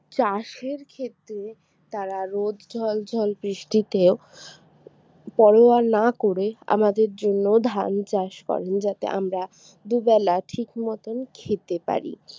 চাষের ক্ষেতে তারা রোদ জল ঝড় বৃষ্টিতে ও পরোয়া না করে আমাদের জন্য ধান চাষ করেন যাতে আমরা দুবেলা ঠিক মতন খেতে পারি